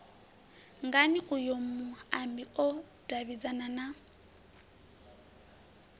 ngani uyo muambi o davhidzana